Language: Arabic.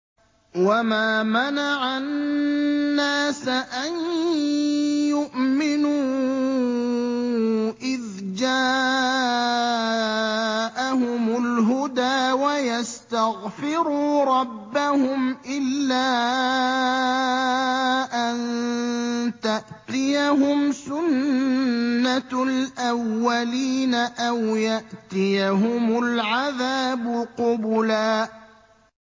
وَمَا مَنَعَ النَّاسَ أَن يُؤْمِنُوا إِذْ جَاءَهُمُ الْهُدَىٰ وَيَسْتَغْفِرُوا رَبَّهُمْ إِلَّا أَن تَأْتِيَهُمْ سُنَّةُ الْأَوَّلِينَ أَوْ يَأْتِيَهُمُ الْعَذَابُ قُبُلًا